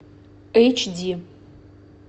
эйч ди